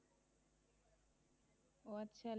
ওহ আচ্ছা